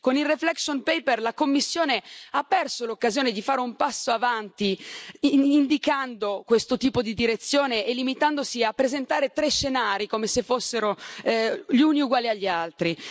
Con il reflection paper la Commissione ha perso l'occasione di fare un passo avanti, indicando questo tipo di direzione e limitandosi a presentare tre scenari, come se fossero gli uni uguali agli altri.